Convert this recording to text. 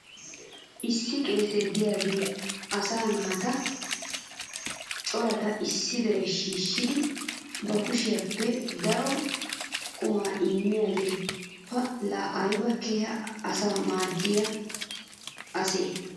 Issi qeesee diyaagee asaa naata corata issi diraa shiishshidi ba kushiyaappe daro qumaa immiyaagee pa laa aybba keehi asaa maadiya asee?